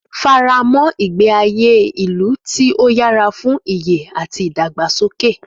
Fara mọ́ ìgbé ayé ìlú tí ó yára fún ìyè àti ìdàgbàsókè.